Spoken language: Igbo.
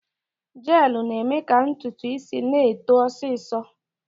Jeelụ na-eme ka ntutu isi na-eto ọsịsọ.